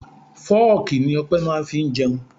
Fooki ni Ọpẹ máa ń fi jẹun.